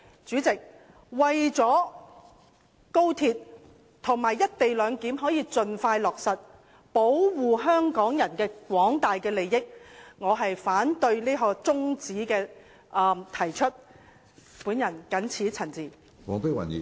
主席，為了讓高鐵和"一地兩檢"能夠盡快落實，保護香港人的廣大利益，我謹此陳辭，反對這項中止待續議案。